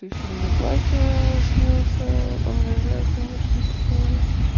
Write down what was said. ещё мне батя снился обожаю конечно такое